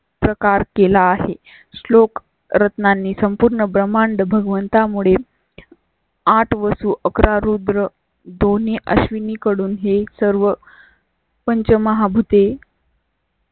प्रकार केला आहे. श्लोक रत्नांनी संपूर्ण ब्रह्मांड भगवंता मुळे आठ वसू अकरा रूद्र दोन्ही अश्विनी कडून हे सर्व. पंचमहाभूत ई.